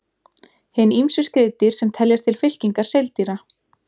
Hin ýmsu skriðdýr sem teljast til fylkingar seildýra.